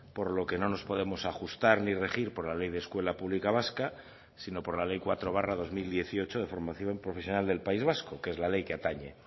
por lo que no nos podemos ajustar ni regir por la ley de escuela pública vasca sino por la ley cuatro barra dos mil dieciocho de formación profesional del país vasco que es la ley que atañe